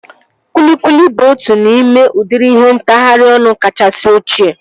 Kwilikwili bụ otu n'ime udịri ihe ntagharị ọnụ kachasị ochie